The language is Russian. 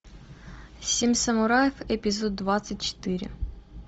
семь самураев эпизод двадцать четыре